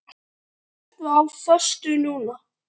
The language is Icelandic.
Ertu á föstu núna?